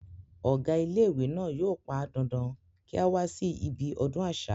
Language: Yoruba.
ọ̀gá ilé ìwé náà yóò pán dandan kí á wá sí ibi ọdún àṣà